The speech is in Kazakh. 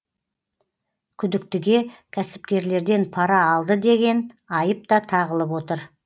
күдіктіге кәсіпкерлерден пара алды деген айып та тағылып отыр